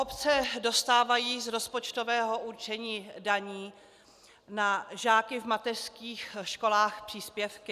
Obce dostávají z rozpočtového určení daní na žáky v mateřských školách příspěvky.